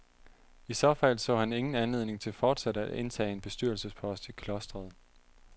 I så fald så han ingen anledning til fortsat at indtage en bestyrelsespost i klostret.